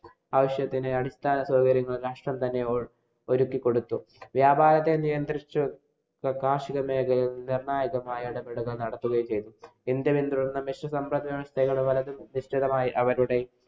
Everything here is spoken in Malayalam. ആവശ്യത്തിനു അടിസ്ഥാന സൌകര്യങ്ങള്‍ തന്നെ ഒരുക്കി കൊടുത്തു. വ്യാപാരത്തെ നിയന്ത്രിച്ചു. കാര്‍ഷിക മേഖലയില്‍ നിര്‍ണ്ണായകമായ ഘടകങ്ങള്‍ നടക്കുകയും ചെയ്തു. ഇന്‍ഡ്യന്‍ വ്യക്തികളായി അവരുടെ